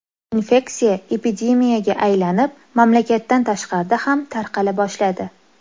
Infeksiya epidemiyaga aylanib, mamlakatdan tashqarida ham tarqala boshladi.